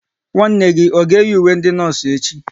Nwanne gị ọ ga eyi ùwé ndị nọọsụ echi?